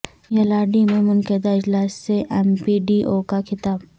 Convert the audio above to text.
یلاریڈی میں منعقدہ اجلاس سے ایم پی ڈی او کا خطاب